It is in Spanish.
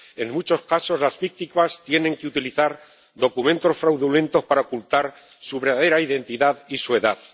En muchos casos, las víctimas tienen que utilizar documentos fraudulentos para ocultar su verdadera identidad y su edad.